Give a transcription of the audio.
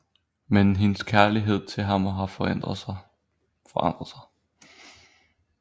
Men hendes kærlighed til ham har forandret sig